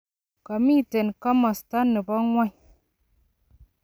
komitei komosta ne bo ng'ony.